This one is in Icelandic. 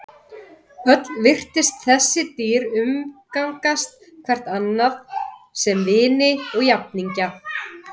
Öll virtust þessi dýr umgangast hvert annað sem vini og jafningja.